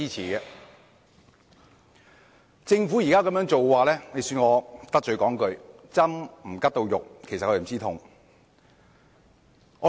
對於政府現時的做法，恕我得罪說一句，"針拮不到肉就不知痛"。